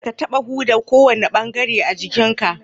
Kadda ka taɓa huda kowane bangaren jikin ka!